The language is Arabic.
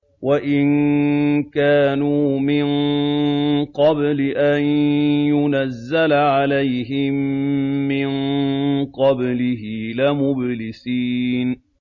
وَإِن كَانُوا مِن قَبْلِ أَن يُنَزَّلَ عَلَيْهِم مِّن قَبْلِهِ لَمُبْلِسِينَ